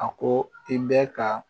A ko i bɛ ka